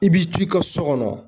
I b'i t'i ka so kɔnɔ